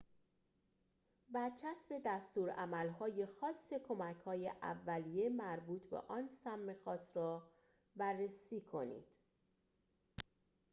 برچسب دستورالعمل‌های خاص کمک‌های اولیه مربوط به آن سم خاص را بررسی کنید